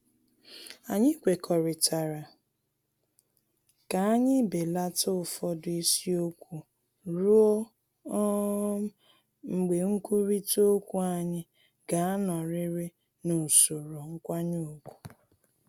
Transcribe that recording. Anyị kwekọrịtara ka anyị belata ụfọdụ isiokwu ruo um mgbe nkwurịta okwu anyị ga-anọrịrị n’usoro nkwanye ugwu